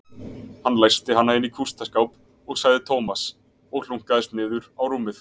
Hann læsti hana inni í kústaskáp sagði Tómas og hlunkaðist niður á rúmið.